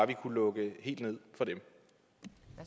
vi kunne lukke helt ned for de